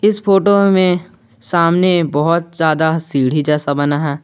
इस फोटो में सामने बहुत ज्यादा सीढ़ी जैसा बना है।